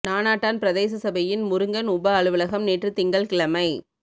நானாட்டான் பிரதேச சபையின் முருங்கன் உப அலுவலகம் நேற்று திங்கள் கிழமை